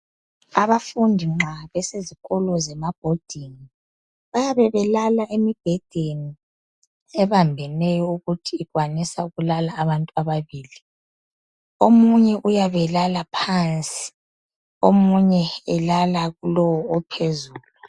Abafundi nxa besezikolo zemabhodingi bayabe belala emibhedeni ebambeneyo ukuthi ikwanisa ukulala abantu ababili. Omunye uyabe elala phansi omunye elala kulowo ophezulu.